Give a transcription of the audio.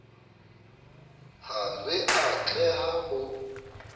ha re a tleha ho